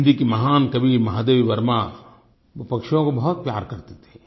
हिन्दी की महान कवि महादेवी वर्मा वो पक्षियों को बहुत प्यार करती थीं